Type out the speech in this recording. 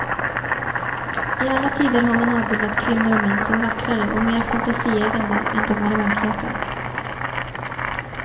I alla tider har man avbildat kvinnor och män som vackrare och mer fantasieggande än de är i verkligheten.